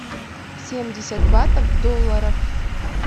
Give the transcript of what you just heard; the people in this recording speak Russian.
семьдесят батов в долларах